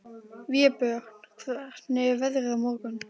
Vébjörn, hvernig er veðrið á morgun?